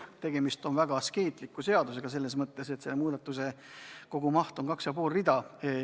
Tegemist on väga askeetliku seadusega – selles mõttes, et eelnõu kogumaht on 2,5 rida.